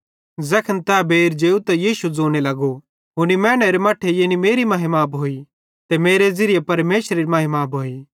ज़ैखन तै बेइर जेव त यीशु ज़ोने लगो हुनी मैनेरे मट्ठे यानी मेरी महिमा भोइ ते मेरे ज़िरीये परमेशरेरी महिमा भोइ